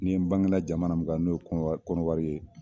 Ni n bangela jamana mun kan, n'o ye Kɔnɔwari Kɔnɔwari ye